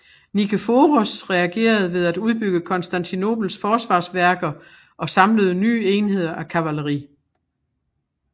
Nikeforos reagerede ved at udbygge Konstantinopels forsvarsværker og samlede nye enheder af kavaleri